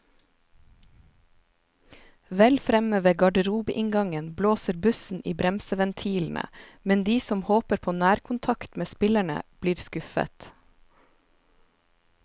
Vel fremme ved garderobeinngangen blåser bussen i bremseventilene, men de som håper på nærkontakt med spillerne, blir skuffet.